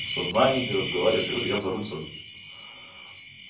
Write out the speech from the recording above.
в сознание ты разговариваешь я говорю я за руль сажусь